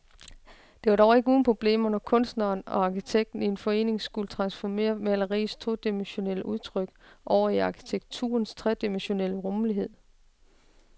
Det var dog ikke uden problemer, når kunstneren og arkitekten i forening skulle transformere maleriets todimensionelle udtryk over i arkitekturens tredimensionelle rumlighed.